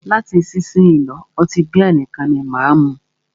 Láti isísìnyí lọ́, ọtí bíà nìkan ni máà mú.